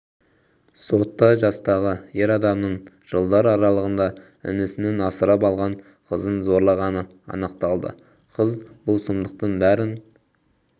сотта жастағы ер адамның жылдар аралығында інісінің асырап алған қызын зорлағаны анықталды қыз бұл сұмдықтың бәрін